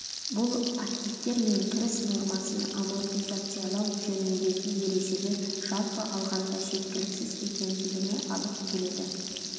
бұл активтер мен кіріс нормасын амортизациялау жөніндегі ережелер жалпы алғанда жеткіәліксіз екендігіне алып келеді